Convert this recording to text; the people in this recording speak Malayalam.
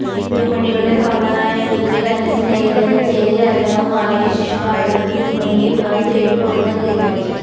രുക്മിണിയുടെ സഹോദരനായ രുക്മി തന്റെ സ്നേഹിതനും ചേദി രാജാവുമായ ശിശുപാലന് രുക്മിണിയെ വിവാഹം ചെയ്തുകൊടുക്കാന് തീരുമാനിച്ചു